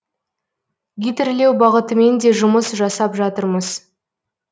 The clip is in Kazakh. гидрлеу бағытымен де жұмыс жасап жатырмыз